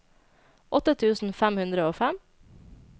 åtte tusen fem hundre og fem